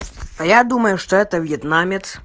а я думаю что это вьетнамец